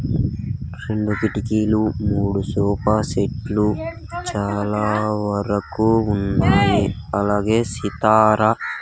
చిన్న కిటికీలు మూడు సోఫా సెట్లు చాలా వరకు ఉన్నాయి అలాగే సితార .